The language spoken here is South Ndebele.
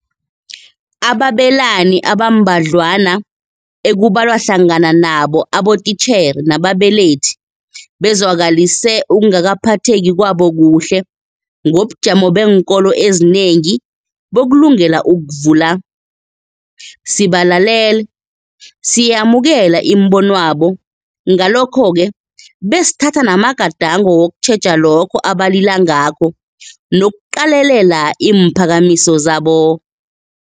Ababelani abambadlwana ekubalwa hlangana nabo abotitjhere nababelethi bezwakalise ukungaphatheki kwabo kuhle ngobujamo beenkolo ezinengi bokulungela ukuvula. Sibalalele, siyayamukela imibo nwabo ngalokho-ke besithatha namagadango wokutjheja lokho abalila ngakho nokuqalelela iimphakamiso zabo.